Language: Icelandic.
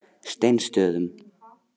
Steinsstöðum